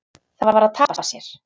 Það var að tapa sér.